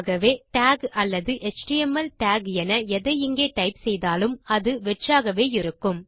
ஆகவே டாக் அல்லது HTML doc என எதை இங்கே டைப் செய்தாலும் அது வெற்றாகவே இருக்கும்